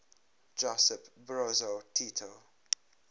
josip broz tito